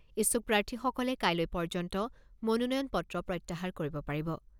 ইচ্ছুক প্ৰাৰ্থীসকলে কাইলৈ পৰ্যন্ত মনোনয়নপত্ৰ প্ৰত্যাহাৰ কৰিব পাৰিব।